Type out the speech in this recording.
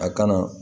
A kana